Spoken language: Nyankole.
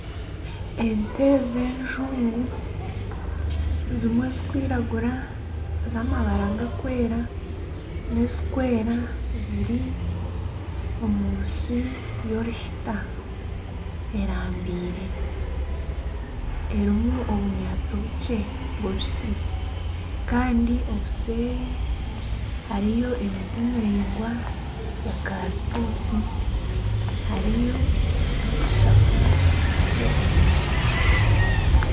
Ente z'enjungu zimwe zikwiragura z'amabara gakwera, n'ezikwera ziri omu nsi y'oruhiita erambire erimu obunyaatsi bukye bubisi kandi obuseeri hariyo emiti miraingwa ya karitusi hariyo na n'otushaka tukye omu rubaju.